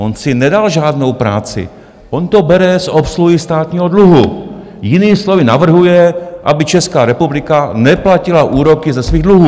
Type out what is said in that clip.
On si nedal žádnou práci, on to bere z obsluhy státního dluhu, jinými slovy, navrhuje, aby Česká republika neplatila úroky ze svých dluhů.